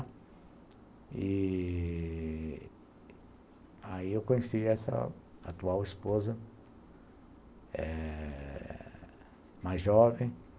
E... Aí eu conheci essa atual esposa eh, mais jovem.